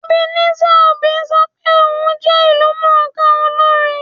Ebenezer Obey sọ pé òun jẹ ìlúmọ̀ọ́ká olórin